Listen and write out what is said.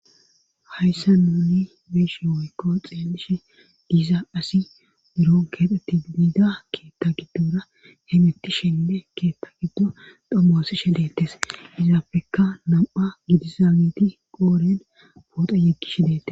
hayssa nuuni beeshe oykko xeelishe giiza asi buron keexetti biida keetta giddora hemettishenne keetta giddo dhommosishe deettes izaafekka nam7a gidizageti qooren pooxa yeggishe deettes